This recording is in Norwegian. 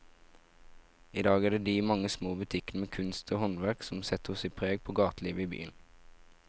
I dag er det de mange små butikkene med kunst og håndverk som setter sitt preg på gatelivet i byen.